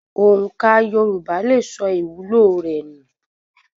Òǹkà Yorùbá lè sọ ìwúlò rẹ nù.